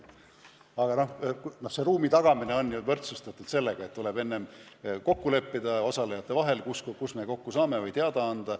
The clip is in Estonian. Aga ruumi tagamine on seotud sellega, et osalejate vahel tuleb enne kokku leppida, kus me kokku saame, ja sellest kõigile teada anda.